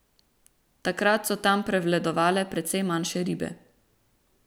Takrat so tam prevladovale precej manjše ribe.